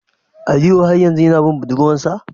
Aliyu har yanzu yana bin budurwar sa?